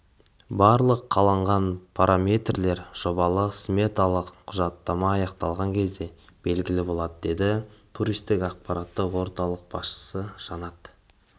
барлық қалған параметрлер жобалық-сметалық құжаттама аяқталған кезде белгілі болады деді туристік ақпараттық орталық басшысы жанат